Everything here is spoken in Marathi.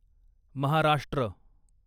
महाराष्ट्र